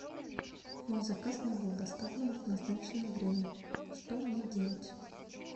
мой заказ не был доставлен в назначенное время что мне делать